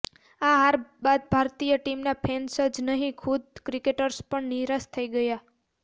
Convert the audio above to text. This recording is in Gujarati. આ હાર બાદ ભારતીય ટીમના ફેન્સ જ નહીં ખુદ ક્રિકેટર્સ પણ નિરાશ થઈ ગયા